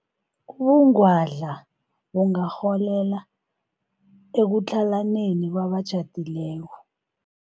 Ubungwadla bungarholela ekutlhalaneni kwabatjhadileko.